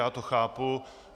Já to chápu.